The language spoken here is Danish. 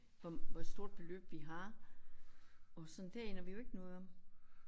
Hvor hvor stort beløb vi har og sådan det aner vi jo ikke noget om